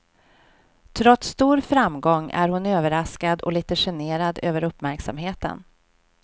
Trots stor framgång är hon överraskad och lite generad över uppmärksamheten.